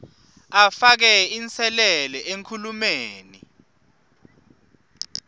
afake inselele enkhulumeni